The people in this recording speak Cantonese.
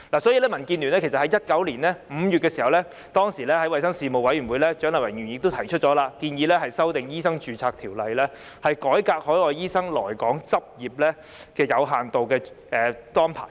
所以，民主建港協進聯盟在2019年5月的衞生事務委員會會議上，由蔣麗芸議員提出修訂《醫生註冊條例》的建議，改革海外醫生來港執業的有限度註冊安排。